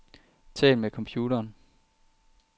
Tal med computeren.